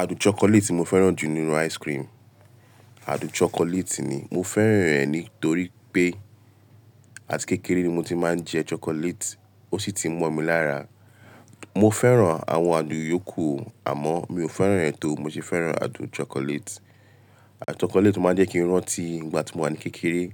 Ádùn chocolate tí mo fẹ́ràn jù nínú ice cream, ádùn chocolate ni. Mo fẹ́ràn rẹ̀ nítorí pé àti kékeré ni mo ti máa ń jẹ chocolate, ó ṣì ti mọ́ mi lára. Mo fẹ́ràn àwọn àdùn yòókù àmọ́ mi ò fẹ́ràn rẹ́ tó mo ṣe fẹ́ràn ádùn chocolate. Ádùn chocolate o máa ń jẹ́ kí n rántí ìgbà tí mo wà ní kékeré.